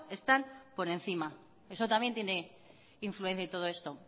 están por encima eso también tiene influencia en todo esto